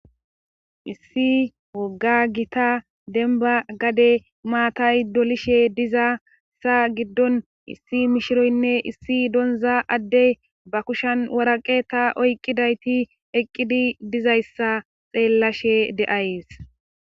Issi wogga gita denba gade maatay dolishe diza sa giddon issi mishiroynne issi donza addey ba kushan waraqe ta oyqqidayti eqqidi dizayssa xeellashe de7ays.